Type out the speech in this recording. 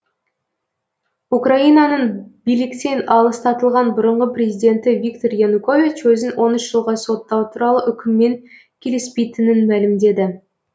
украинаның биліктен аластатылған бұрынғы президенті виктор янукович өзін он үш жылға соттау туралы үкіммен келіспейтінін мәлімдеді